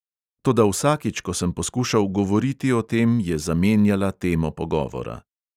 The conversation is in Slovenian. Toda vsakič, ko sem poskušal govoriti o tem, je zamenjala temo pogovora.